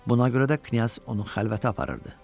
Buna görə də knyaz onu xəlvətə aparırdı.